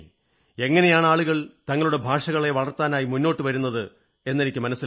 എങ്ങനെയാണ് ആളുകൾ തങ്ങളുടെ ഭാഷകളെ വളർത്താനായി മുന്നോട്ടു വരുന്നത് എന്നെനിക്കു മനസ്സിലായി